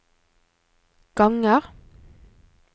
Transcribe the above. ganger